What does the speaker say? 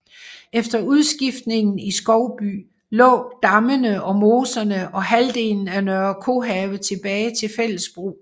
Efter udskiftningen i Skovby lå dammene og moserne og halvdelen af Nørre Kohave tilbage til fælles brug